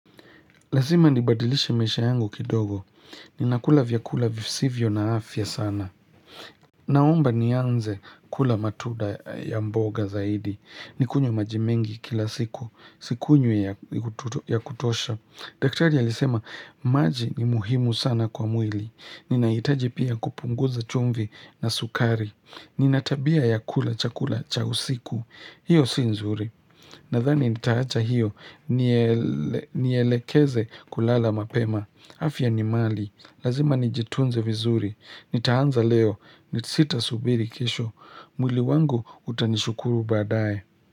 Lazima nibadilishe maisha yangu kidogo. Ninakula vyakula visivyo na afya sana. Naomba ni anze kula matunda ya mboga zaidi. Nikunywe majimengi kila siku. Sikunywi ya kutosha. Daktari alisema, maji ni muhimu sana kwa mwili. Ninaitaji pia kupunguza chumvi na sukari. Ninatabia ya kula chakula cha usiku. Hiyo sinzuri. Nadhani nitaacha hiyo. Nielekeze kulala mapema. Afya ni mali. Lazima nijitunze vizuri. Nitaanza leo. Nitsita subiri kesho. Mwili wangu utanishukuru badae.